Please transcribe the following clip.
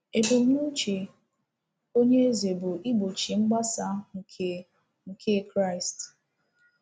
Ebumnuche onye eze bụ igbochi mgbasa nke nke Kraịst.